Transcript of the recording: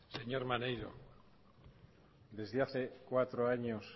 señor maneiro desde hace cinco años